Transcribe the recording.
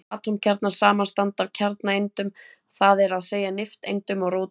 Atómkjarnar samanstanda af kjarnaeindum, það er að segja nifteindum og róteindum.